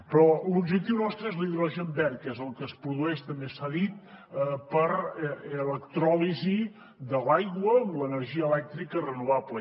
però l’objectiu nostre és l’hidrogen verd que és el que es produeix també s’ha dit per l’electròlisi de l’aigua amb l’energia elèctrica renovable